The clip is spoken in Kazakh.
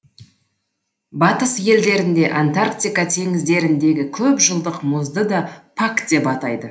батыс елдерінде антарктика теңіздеріндегі көпжылдық мұзды да пак деп атайды